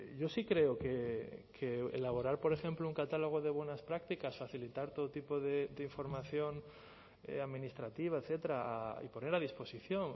yo sí creo que elaborar por ejemplo un catálogo de buenas prácticas facilitar todo tipo de información administrativa etcétera y poner a disposición